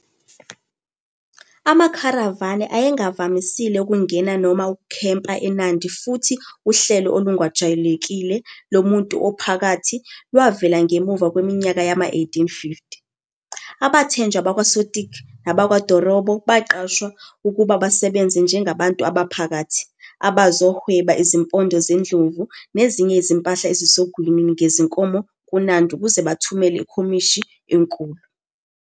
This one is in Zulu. AmaKharavani ayengavamisile ukungena noma ukukhempa eNandi futhi uhlelo olungajwayelekile "lomuntu ophakathi" lwavela ngemuva kweminyaka yama-1850. Abathenjwa bakwaSotik nabakwaDorobo baqashwa ukuba basebenze "njengabantu abaphakathi" abazohweba izimpondo zendlovu nezinye izimpahla ezisogwini ngezinkomo kuNandi ukuze bathumele ikhomishini enkulu.